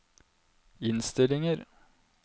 innstillinger